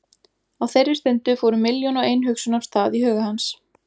Á þeirri stundu fóru milljón og ein hugsun af stað í huga hans.